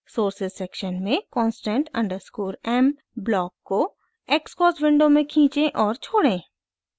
sources section में constant underscore m block को xcos window में खींचें और छोड़ें